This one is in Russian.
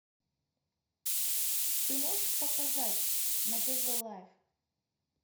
ты можешь показать на тв лайв